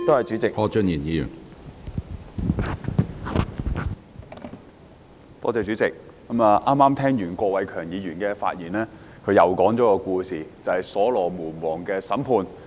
主席，我剛才聽完郭偉强議員的發言，他在發言中再次講述所羅門王的審判故事。